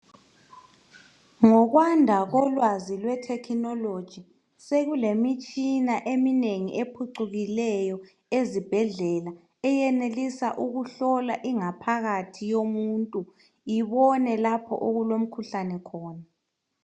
Ngokwanda kolwazi lwethekhinoloji sekulemitshina eminengi ephucukileyo ezibhedlela, eyenelisa ukuhlola ingaphakathi yomuntu, ibone lapho okulomkhuhlane khona.